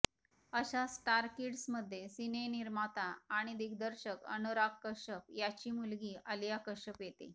अशाच स्टारकिड्समध्ये सिनेनिर्माता आणि दिग्दर्शक अनुराग कश्यप याची मुलगी आलिया कश्यप येते